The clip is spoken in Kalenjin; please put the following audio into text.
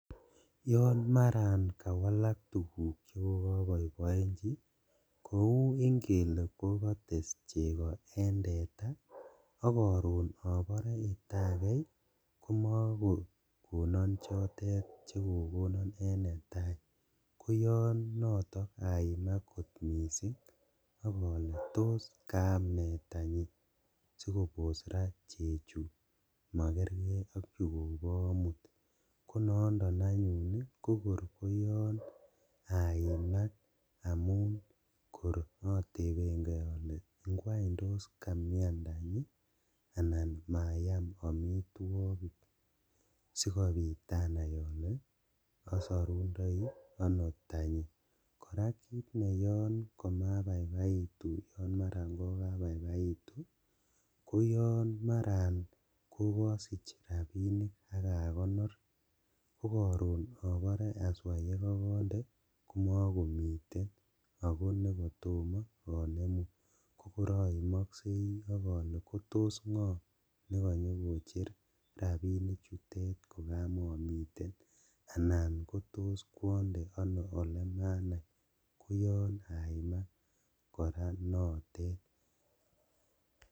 Yon maran kawalak tuguk chekokoboiboenji kou ingele kokotes cheko en teta ak koron inobore akei komokokonon chotet chukookee en netaa koyoon noton aimak kot missing' ak ole tos kaam nee tanyi sikobosok raa cheko makerker ok chukobo omut konondo anyun kokor koyon aimak amun kor oteben kee ole ngwan tos kamian tanyi anan mayam omitwogik sikobit anai ole osorundoi ono tanyi, koraa kit neyoon komabaibaitu o maran kokabaibaitu koyon maran kokosich rabinik ak akonor kokoron obore aswaa yekokonde komokomiten ako nekotomo onemu kokor oimoksei ok ole kotos ngoo nekonyokocher rabinichutet kokomomiten anan kotos kwonde ono elemanai koyon aimak koraa notet .